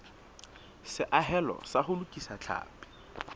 seahelo sa ho lokisa tlhapi